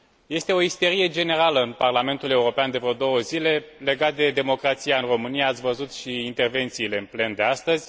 Este o isterie generală în Parlamentul European de vreo două zile, legată de democrația în România ați văzut și intervențiile în plen de astăzi.